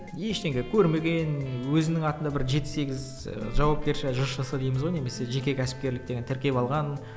ештеңе көрмеген ііі өзінің атында бір жеті сегіз ыыы жауапкершілігі жшс дейміз ғой немесе жеке кәсіпкерлік деген тіркеп алған